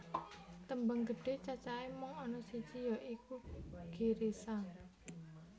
Tembang gedhe cacahe mung ana siji ya iku Girisa